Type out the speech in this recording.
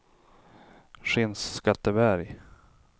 Skinnskatteberg